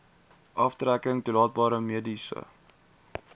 aftrekking toelaatbare mediese